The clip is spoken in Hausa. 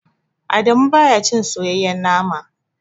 Adamu baya cin soyayyen nama.